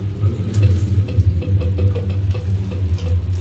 Gukorwo wĩna meciria maingĩ nĩ matumaga ũrwo nĩ toro.